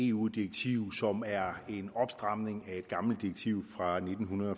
eu direktiv som er en opstramning af et gammelt direktiv fra nitten